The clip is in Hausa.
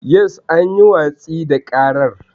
Yes, an yi watsi da ƙarar.